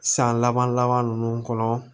San laban laban ninnu kɔnɔ